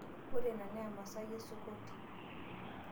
Ore ina na emasaai esukoti.